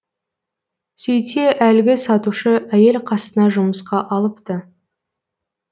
сөйтсе әлгі сатушы әйел қасына жұмысқа алыпты